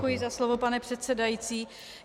Děkuji za slovo, pane předsedající.